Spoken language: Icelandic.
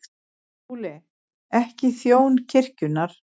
SKÚLI: Ekki þjón kirkjunnar.